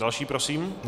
Další prosím.